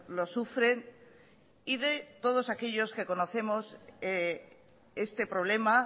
los sufren y de todos aquellos que conocemos este problema